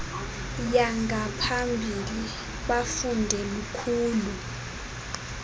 yangaphambili bafunde lukhulu